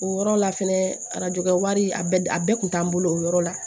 O yɔrɔ la fɛnɛ arajo kɛ wari a bɛɛ kun t'an bolo o yɔrɔ la